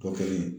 Kɔ kelen